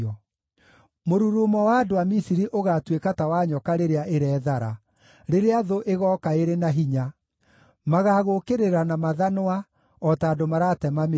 Mũrurumo wa andũ a Misiri ũgaatuĩka ta wa nyoka rĩrĩa ĩrethara, rĩrĩa thũ ĩgooka ĩrĩ na hinya; magaagũũkĩrĩra na mathanwa, o ta andũ maratema mĩtĩ.”